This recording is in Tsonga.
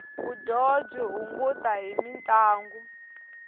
vudyoho byi hunguta hi mintlangu